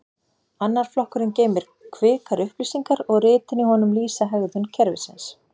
annar flokkurinn geymir kvikar upplýsingar og ritin í honum lýsa hegðun kerfisins